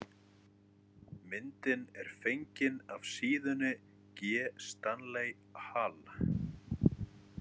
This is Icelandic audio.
Myndin er fengin af síðunni G Stanley Hall.